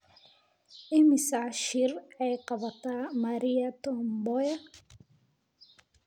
Imisa shir ayay qabatay Maria Tom Mboya?